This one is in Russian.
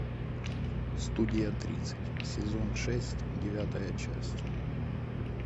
студия тридцать сезон шесть девятая часть